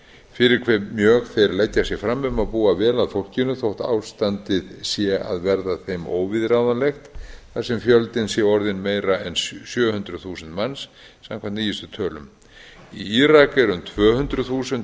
fyrir hve mjög þeir leggja sig fram um að búa vel að fólkinu þótt ástandið sé að verða þeim óviðráðanlegt þar sem fjöldinn sé orðinn meira en sjö hundruð þúsund manns samkvæmt nýjustu tölum í írak eru um tvö hundruð þúsund